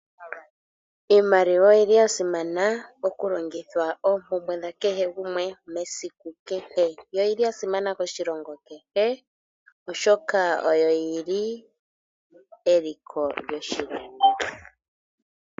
Iimaliwa oyili ya simana mokulongithwa oompumbwe dha kehe shimwe mesiku kehe. Oyili ya simana moshilongo kehe oshoka oyo yili eliko lyoshilongo.